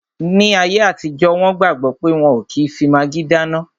Ní ayé àtijọ́, wọn gbàgbọ̀ pé wọ́n ò kí n fi magí dáná